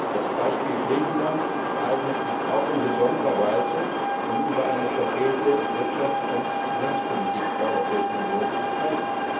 Das Beispiel Griechenland eignet sich auch in besonderer Weise, um über eine verfehlte Wirtschafts und Finanzpolitik der Europäischen Union zu sprechen.